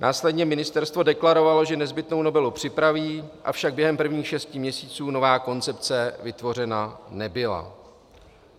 Následně ministerstvo deklarovalo, že nezbytnou novelu připraví, avšak během prvních šesti měsíců nová koncepce vytvořena nebyla.